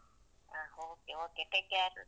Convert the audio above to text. ಹ okay, okay take care.